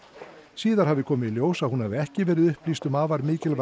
síðar hafi komið í ljós að hún hafi ekki verið upplýst um afar mikilvæg